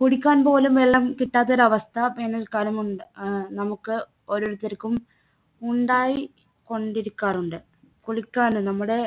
കുടിക്കാൻപോലും വെള്ളം കിട്ടാത്തൊരു അവസ്ഥ വേനൽക്കാലം ഉണ്ടാ ഏർ നമുക്ക് ഓരോരുത്തർക്കും ഉണ്ടായി കൊണ്ടിരിക്കാറുണ്ട് കുളിക്കാനും നമ്മുടെ